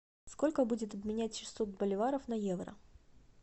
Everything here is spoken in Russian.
сколько будет обменять шестьсот боливаров на евро